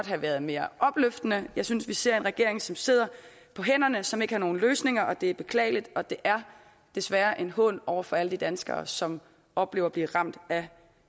have været mere opløftende jeg synes vi ser en regering som sidder på hænderne og som ikke har nogen løsninger det er beklageligt og det er desværre en hån over for alle de danskere som oplever at blive ramt af